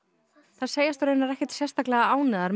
þær segjast raunar ekkert sérstaklega ánægðar